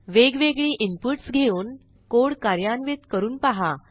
वेगवेगळी इनपुट्स घेऊन कोड कार्यान्वित करून पहा